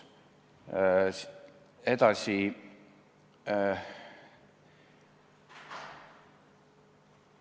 Edasi.